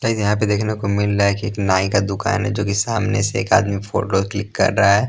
Guys यहाँ पे देखने को मिल रहा है कि एक नाई का दुकान है जो कि सामने से एक आदमी फोटो क्लिक कर रहा है ।